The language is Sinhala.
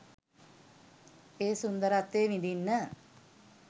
ඒ සුන්දරත්වය විඳින්න.